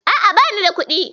A'a, bani da kuɗi.